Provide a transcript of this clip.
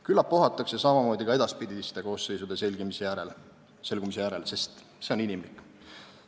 Küllap ohatakse samamoodi ka edaspidiste koosseisude selgumise järel, sest see on inimlik.